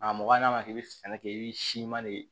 A mɔgɔ n'a ma k'i bɛ sɛnɛ kɛ i bɛ siman de